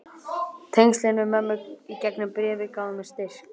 Tengslin við mömmu í gegnum bréfin gáfu mér styrk.